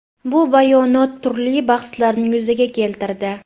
Bu bayonot turli bahslarni yuzaga keltirdi.